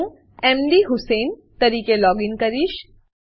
હું મધુસેઇન તરીકે લોગીન કરીશ